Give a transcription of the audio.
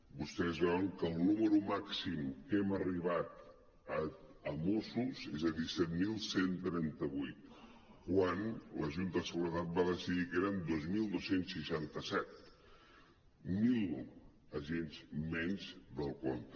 vostès veuen que el número màxim a què hem arribat a mossos és de disset mil cent i trenta vuit quan la junta de seguretat va decidir que eren divuit mil dos cents i seixanta set mil agents menys del compte